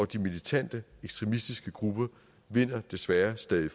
de militante ekstremistiske grupper desværre stadig